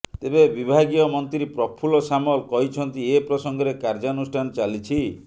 ତେବେ ବିଭାଗୀୟ ମନ୍ତ୍ରୀ ପ୍ରଫୁଲ୍ଲ ସାମଲ କହିଛନ୍ତି ଏ ପ୍ରସଙ୍ଗରେ କାର୍ଯ୍ୟାନୁଷ୍ଠାନ ଚାଲିଛି